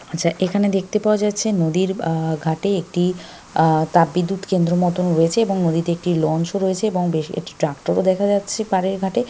আচ্ছা এখানে দেখতে পাওয়া যাচ্ছে নদীর আ ঘাটে একটি আ তাপবিদ্যুৎ কেন্দ্র মতোন রয়েছে এবং নদীতে একটি লঞ্চ ও রয়েছে এবং বেশ একটা ট্র্যাক্টর ও দেখা যাচ্ছে পারে ঘাটে ।